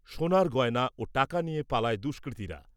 সোনার গয়না ও টাকা নিয়ে পালায় দুষ্কৃতীরা।